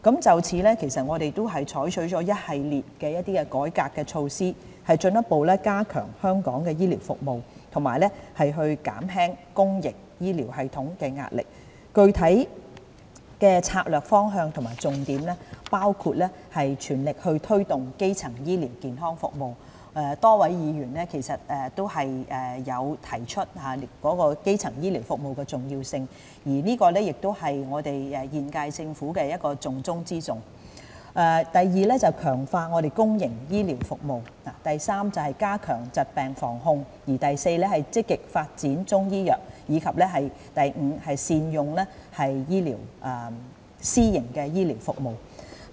就此，我們採取了一系列的改革措施，進一步加強香港醫療服務，以及減輕公營醫療系統壓力，具體的策略方向和重點包括： a 全力推動基層醫療健康服務，多位議員都提出基層醫療服務的重要性，而這亦是現屆政府的重中之重； b 強化公營醫療服務； c 加強疾病防控； d 積極發展中醫藥；及 e 善用私營醫療服務。